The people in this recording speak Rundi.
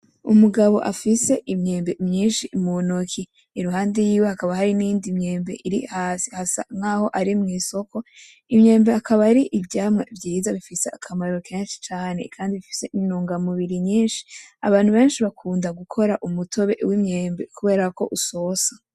Umugabo afise imyembe myishi mu ntoki iruhande yiwe hakaba hari n'iyindi myembe iri hasi hasa nkaho ari mu isoko imyembe akaba ari ivyamwa vyiza bifise akamaro keshi cane kandi bifise intungamubiri nyishi abantu beshi bakunda gukora umutobe w'imyembe kuberako usosa.